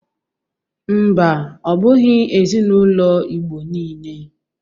Mba, ọ bụghi ezinaụlọ Igbo niile.